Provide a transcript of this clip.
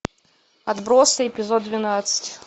отбросы эпизод двенадцать